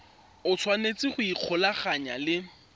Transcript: o tshwanetse go ikgolaganya le